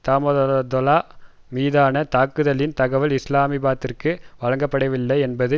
தாமதோலா மீதான தாக்குதலின் தகவல் இஸ்லாமாபாத்திற்கு வழங்கப்படவில்லை என்பது